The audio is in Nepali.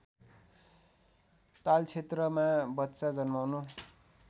तालक्षेत्रमा बच्चा जन्माउनु